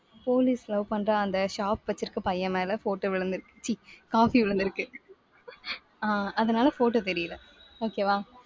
police love பண்ற அந்த shop வச்சிருக்கிற பையன் மேல photo விழுந்துருக்கு. ச்சீ coffee விழுந்திருக்கு. ஆஹ் அதனால photo தெரியல okay வா